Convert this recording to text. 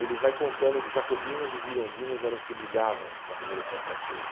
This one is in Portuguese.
ele vai contando jacobinos e girondinos eram os que brigavam na Revolução Francesa.